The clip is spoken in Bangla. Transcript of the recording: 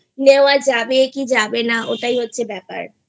নেওয়া যাবে কি যাবে না ওটাই হচ্ছে ব্যাপার